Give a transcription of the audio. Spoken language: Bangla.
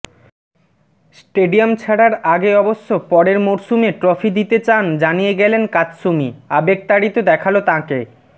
স্টেডিয়াম ছাড়ার আগে অবশ্য পরের মরসুমে ট্রফি দিতে চান জানিয়ে গেলেন কাতসুমি আবেগতাড়িত দেখাল তাঁকে